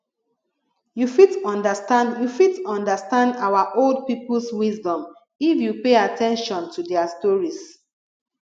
you fit understand you fit understand our old peoples wisdom if you pay at ten tion to their stories